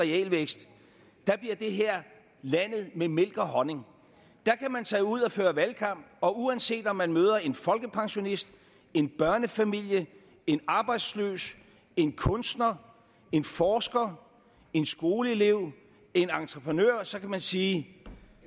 realvækst bliver det her landet med mælk og honning der kan man tage ud og føre valgkamp og uanset om man møder en folkepensionist en børnefamilie en arbejdsløs en kunstner en forsker en skoleelev en entreprenør så kan man sige